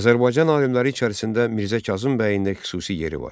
Azərbaycan alimləri içərisində Mirzə Kazım bəyin də xüsusi yeri var.